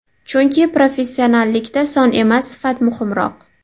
Chunki professionallikda son emas, sifat muhimroq.